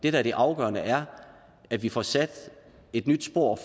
er det afgørende er at vi får sat et nyt spor